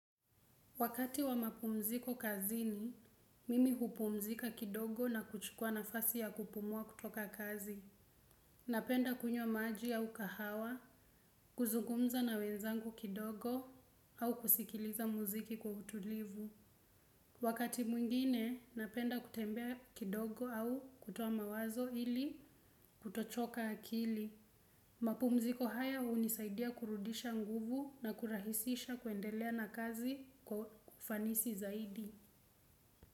Wakati wa mapumziko kazini, mimi hupumzika kidogo na kuchukua na fasi ya kupumua kutoka kazi. Napenda kunyo maji au kahawa, kuzungumza na wenzangu kidogo au kusikiliza muziki kwa utulivu. Wakati mwingine, napenda kutembea kidogo au kutowa mawazo ili kutochoka akili. Mapumziko haya unisaidia kurudisha nguvu na kurahisisha kuendelea na kazi kwa ufanisi zaidi.